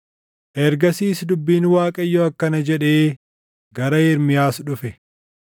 Ergasiis dubbiin Waaqayyoo akkana jedhee gara Ermiyaas dhufe: